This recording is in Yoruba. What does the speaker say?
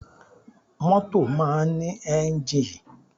Mọ́tò máa ń ní enjii.